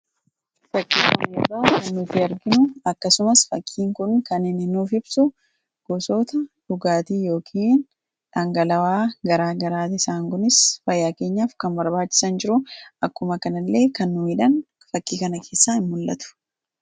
fakkii kanarraa kan nuti arginu akkasumas fakkiin kun kan inni nuuf ibsu gosoota dhugaatii yookin dhangala, awwaa garaa garaati isaan kunis fayyaakeenyaaf kan barbaachisan jiru akkumas kanillee kan nu miidhan fakkii kana keessaa ni mul'atu.